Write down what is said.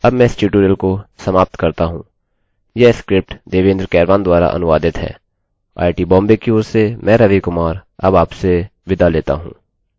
यह स्क्रिप्ट देवेन्द्र कैरवान द्वारा अनुवादित है आईआईटी बॉम्बे की ओर से मैं रवि कुमार अब आपसे विदा लेता हूँ